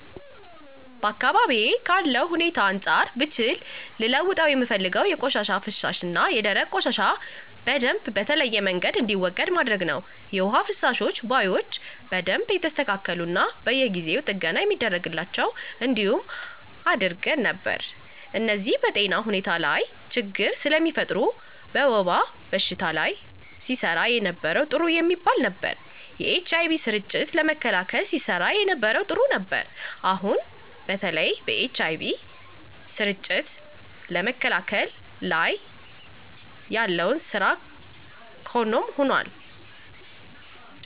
በአካባቢዬ ካለው ሁኔታ አንፃር ብችል ልለውጠው የምፈልገው የፈሳሽ ቆሻሻና የደረቅ ቆሻሻ በደምብ በተለያየ መንገድ እንዲወገድ ማድረግ ነው። የውሃ መፋሰሻ ቦዮች በደንብ የተስተካሉና በየጊው ጥገና የሚደረግላቸው እንዲሆኑ አደረግ ነበር። እነዚህ በጤና ሁኔታ ላች ችግር ስለሚፈጥር። በወባ በሽታ ላይ ሲሰራ የነበረው ጥሩ የሚባል ነበር። የኤች አይ ቪ ስርጭትን ለመከላከል ሲሰራ የነበረው ጥሩ ነበር። አሁን አሁን በተለይ በኤች አይ ቪ ስርጭትን ለመከላከል ላይ ያለው ስራ ካም ሆኖል።